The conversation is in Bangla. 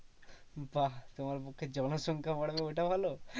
বাহ্ তোমার পক্ষে জনসংখা বাড়বে ওটা ভালো।